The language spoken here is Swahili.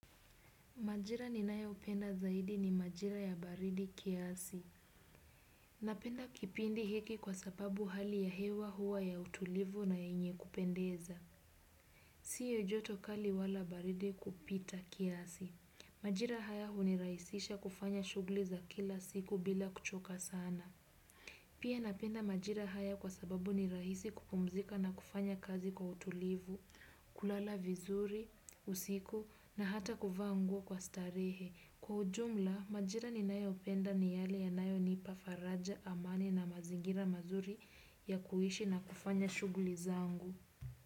Majira ninayo upenda zaidi ni majira ya baridi kiasi. Napenda kipindi hiki kwa sababu hali ya hewa hua ya utulivu na yenye kupendeza. Sio joto kali wala baridi kupita kiasi. Majira haya hunirahisisha kufanya shugli za kila siku bila kuchoka sana. Pia napenda majira haya kwa sababu ni rahisi kupumzika na kufanya kazi kwa utulivu, kulala vizuri, usiku na hata kuvaa nguo kwa starehe. Kwa ujumla, majira ninayo upenda ni yale yanayo nipa faraja amani na mazingira mazuri ya kuishi na kufanya shugli zangu.